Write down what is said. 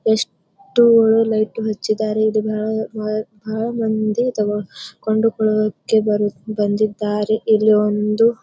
ಎಷ್ಟು ಒಳ್ಳೆ ಲೈಟ್ ಹಚ್ಚಿದ್ದಾರೆ ಇದು ಭಾಳ ಭಾಳ ಭಾಳೆ ಮಂದಿ ತಗೋ ಕೊಂಡುಕೊಳ್ಳೋಕೆ ಬಂದಿದ್ದಾರೆ.